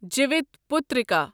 Jivitputrika